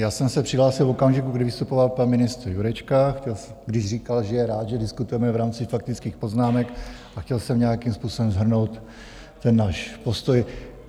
Já jsem se přihlásil v okamžiku, kdy vystupoval pan ministr Jurečka, když říkal, že je rád, že diskutujeme v rámci faktických poznámek, a chtěl jsem nějakým způsobem shrnout ten náš postoj.